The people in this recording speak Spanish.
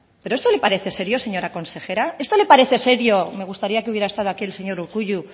pero esto le parece serio señora consejera esto le parece serio me gustaría que hubiera estado aquí el señor urkullu